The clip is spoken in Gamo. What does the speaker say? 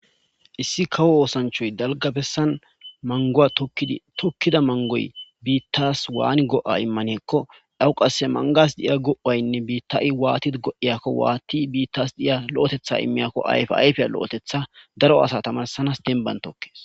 issi kawo osanchay dalga besani maguwa tokidi tokida maguwa bitas wani go'a imane giko , awo qase manguwasi diya ,waati bitas diyao'otetha imiyako, ayfa ayfe lo'otetha daro asa tamarisanasi dembani taokesi.